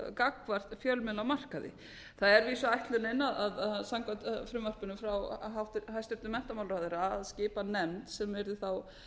gagnvart fjölmiðlamarkaði það er að vísu ætlunin samkvæmt frumvarpinu frá hæstvirtum menntamálaráðherra að skipa nefnd sem yrði þá